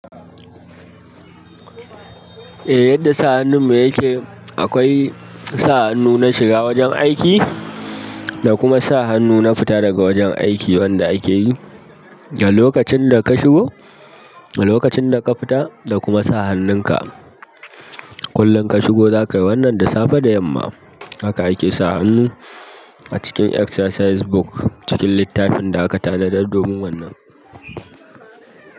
Eh yadda sa hannun me yake, akwai sa hannu na shiga wajen aiki, da kuma sa hannu na fita daga wajen aiki wanda akeyi. Da lokacin da ka shigo, da lokacin da ka fita, da kuma sa hannun ka kullum ka shigo zaka yi wannan da safe da yamma. Haka ake sa hannu a cikin exercise book cikin littafin da aka tanadar domin wannan.